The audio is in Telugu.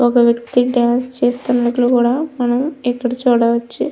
ఒక వ్యక్తి డాన్స్ చేస్తున్నట్లు కూడా మనం ఇక్కడ చూడవచ్చు.